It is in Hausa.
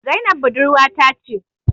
Zainab budurwa ta ce